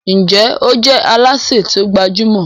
Njé o je Alásè ti o gbajúmò?